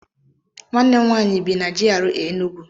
Nwanne m nwaanyị bi na GRA Enugwu.